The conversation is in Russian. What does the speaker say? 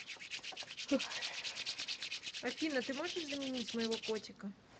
афина ты можешь заменить моего котика